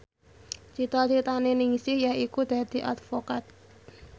cita citane Ningsih yaiku dadi advokat